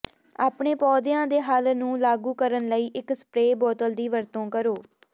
ਆਪਣੇ ਪੌਦਿਆਂ ਦੇ ਹੱਲ ਨੂੰ ਲਾਗੂ ਕਰਨ ਲਈ ਇੱਕ ਸਪਰੇਅ ਬੋਤਲ ਦੀ ਵਰਤੋਂ ਕਰੋ